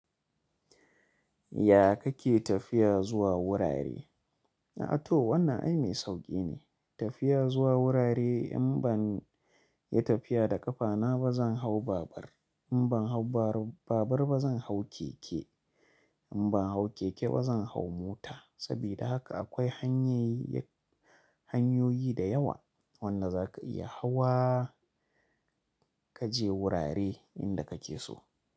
Ya kake tafiya zuwa wurare? A'a to, wannan ai mai sauƙi ne. Tafiya zuwa wurare in ban yi tafiya da ƙafana ba, zan hau babur. In ban hau babur ba, zan hau keke. In ban hau keke ba, zan hau mota. Saboda haka akwai hanyoyi da yawa wanda za ka iya hawa ka je wurare inda kake so.